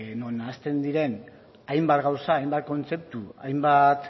non nahasten diren hainbat gauza hainbat kontzeptu hainbat